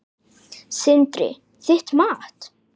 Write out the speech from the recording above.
Sindri: Þitt mat?